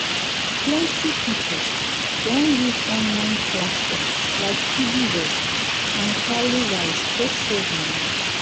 plenty people don use onlne platforms like piggvest and cowrywise take save moni